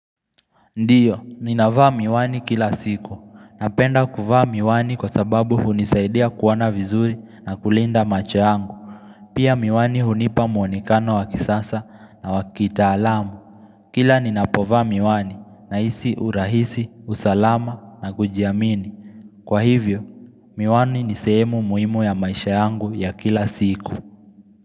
Ndiyo, ninavaa miwani kila siku, napenda kuvaa miwani kwa sababu hunisaidia kuona vizuri na kulinda macho yangu Pia miwani hunipa muonekano wakisasa na wakitaalamu Kila ninapovaa miwani nahisi urahisi, usalama na kujiamini Kwa hivyo, miwani nisehemu muhimu ya maisha yangu ya kila siku.